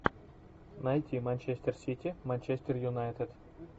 найти манчестер сити манчестер юнайтед